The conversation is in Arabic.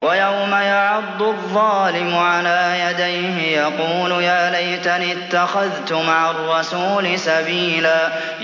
وَيَوْمَ يَعَضُّ الظَّالِمُ عَلَىٰ يَدَيْهِ يَقُولُ يَا لَيْتَنِي اتَّخَذْتُ مَعَ الرَّسُولِ سَبِيلًا